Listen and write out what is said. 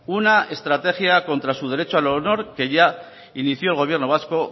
una estrategia contra su derecho al honor que ya inició el gobierno vasco